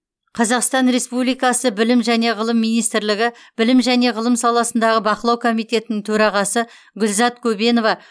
қазақстан респуликасы білім және ғылым министрлігі білім және ғылым саласындағы бақылау комитетінің төрағасы гүлзат көбенова